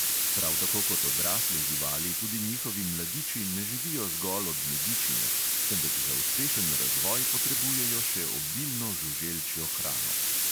Prav tako kot odrasle živali tudi njihovi mladiči ne živijo zgolj od medičine, temveč za uspešen razvoj potrebujejo še obilno žuželčjo hrano.